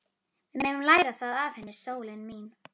Við megum læra það af henni, sólin mín.